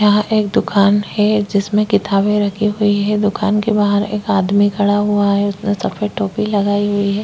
यहाँ एक दुकान है जिसमें किताबें रखी हुई है दुकान के बाहर एक आदमी खड़ा हुआ है उसने सफेद टोपी लगाई हुई है।